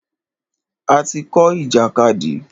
A ti kọ́ ìjàkadì.